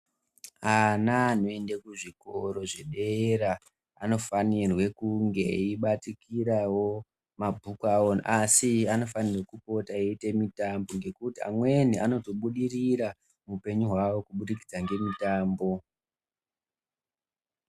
Ana anoende kuzvikora zvedera anofanirwe kunge eibatikirawo mabhuku awo asi anofanirwe kupota eiita mitambo ngekuti amweni anozobudirira muupenyu hwavo kubudikidza ngemitambo.